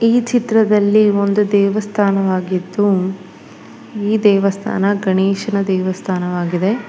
ಈ ಚಿತ್ರದಲ್ಲಿ ಒಂದು ದೇವಸ್ಥಾನವಾಗಿದ್ದು ಈ ದೇವಸ್ಥಾನ ಗಣೇಶನ ದೇವಸ್ಥಾನವಾಗಿದೆ.